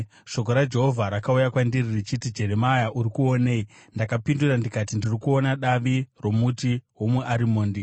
Shoko raJehovha rakauya kwandiri richiti, “Jeremia, uri kuonei?” Ndakapindura ndikati, “Ndiri kuona davi romuti womuarimondi.”